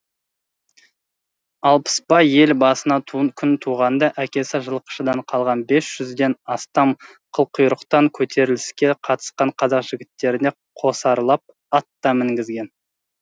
алпысбай ел басына күн туғанда әкесі жылқышыдан қалған бес жүзден астам қылқұйрықтан көтеріліске қатысқан қазақ жігіттеріне қосарлап ат та мінгізген